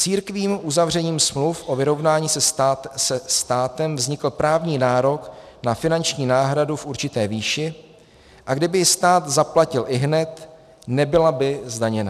Církvím uzavřením smluv o vyrovnání se státem vznikl právní nárok na finanční náhradu v určité výši, a kdyby ji stát zaplatil ihned, nebyla by zdaněna.